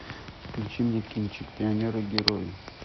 включи мне кинчик пионеры герои